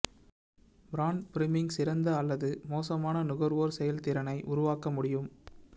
brand priming சிறந்த அல்லது மோசமான நுகர்வோர் செயல்திறனை உருவாக்க முடியும்